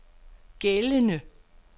gældende